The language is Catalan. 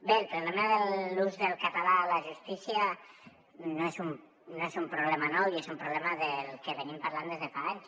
bé el problema de l’ús del català a la justícia no és un problema nou i és un problema del que venim parlant des de fa anys